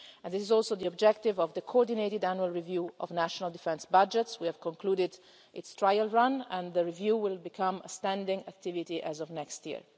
This is also the objective of the Coordinated Annual Review of national defence budgets. We have concluded its trial run, and the review will become a standing activity as of next